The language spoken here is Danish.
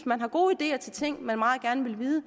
man har gode ideer til ting man meget gerne vil vide